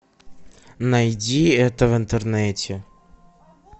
найди это в интернете